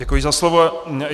Děkuji za slovo.